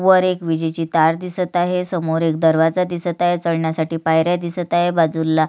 वर एक विजेची तार दिसत आहे समोर एक दरवाजा दिसत आहे चढण्यासाठी पायऱ्या दिसत आहे बाजुला --